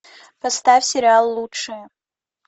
поставь сериал лучшие